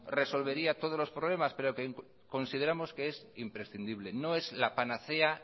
resolvería todos los problemas pero que consideramos que es imprescindible no es la panacea